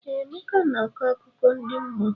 Ee, Emeka na-akọ akụkọ ndi mmụọ.